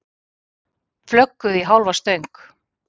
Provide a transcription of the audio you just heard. Flögguðu í hálfa stöng